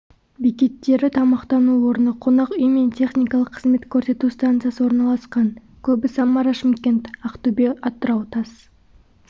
бекеттері тамақтану орны қонақ үй мен техникалық қызмет көрсету станциясы орналасқан көбі самара-шымкент ақтөбе-атырау тас